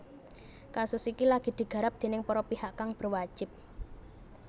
Kasus iki lagi digarap déning para pihak kang berwajib